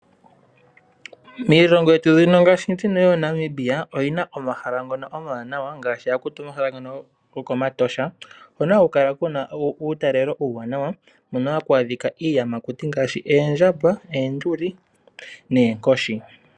Miilongo yetu ngaashi mbino yooNamibia oyi na omahala ngono omawanawa ngaashi omahala ngono gokOmatosha hono haku kala ku na uutalelo uuwanawa hono ha kwaadhika iiyamakuti ngaashi oondjamba, oonduli noonkoshi.